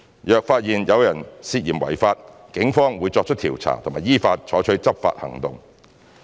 若發現有人涉嫌違法，警方會作出調查及依法採取執法行動。